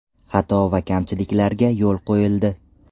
Xato va kamchiliklarga yo‘l qo‘yildi.